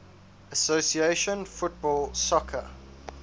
association football soccer